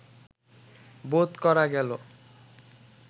বোধ করা গেল